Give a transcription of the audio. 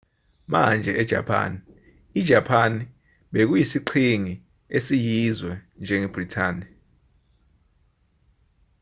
manje ejapani ijapani bekuyisiqhingi esiyizwe njengebhrithani